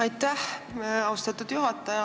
Aitäh, austatud juhataja!